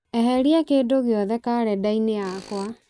eheria kindũ gĩothe karenda-inĩ yakwa